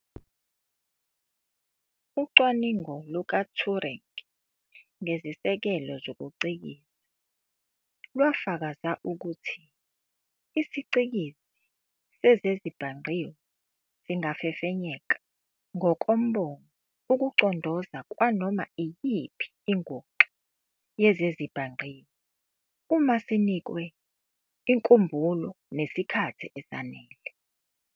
Ucwaningo luka-Turing ngezisekelo zokucikiza lwafakaza ukuthi isiCikizi sezezibhangqiwe singafefenyeka, ngokombono, ukucondoza kwanoma iyiphi inguxa yezezibhangqiwe, uma sinikwe inkumbulo nesikhathi esanele.